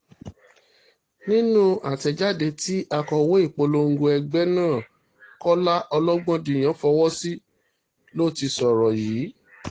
nínú àtẹ̀jáde tí akọ̀wé ìpolongo ẹgbẹ́ náà kọ́lá ọlọ́gbọ́ndìyàn fọwọ́ sí ló ti sọ̀rọ̀ yìí